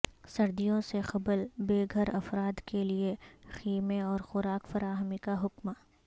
سردیوں سے قبل بے گھر افرادکیلئے خیمے اور خوراک فراہمی کا حکم